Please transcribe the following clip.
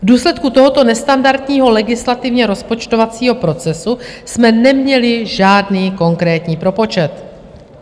V důsledku tohoto nestandardního legislativně rozpočtovacího procesu jsme neměli žádný konkrétní propočet.